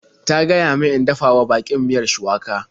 Ta gaya min in dafa wa baƙin miyar shuwaka.